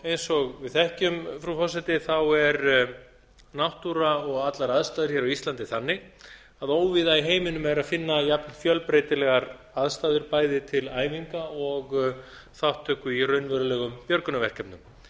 eins og sviði þekkjum frú forseti er náttúra og allar aðstæður hér á íslandi þannig að óvíða í heiminum er að finna jafn fjölbreytilegar aðstæður bæði til æfinga og þátttöku í raunverulegum